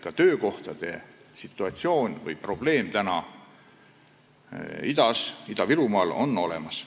Ka töökohtade probleem on Ida-Virumaal olemas.